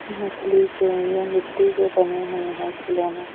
नकली के ये मिट्टी के बने हुए हैं खिलौने।